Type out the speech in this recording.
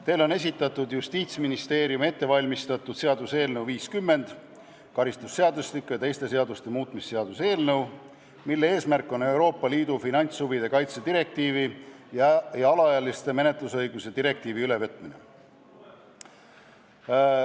Teile on esitatud Justiitsministeeriumi ettevalmistatud seaduseelnõu 50, karistusseadustiku ja teiste seaduste muutmise seaduse eelnõu, mille eesmärk on Euroopa Liidu finantshuvide kaitse direktiivi ja alaealiste menetlusõiguste direktiivi ülevõtmine.